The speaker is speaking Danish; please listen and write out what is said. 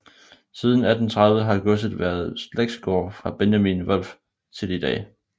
Siden 1830 har godset været slægtsgård fra Benjamin Wolff til i dag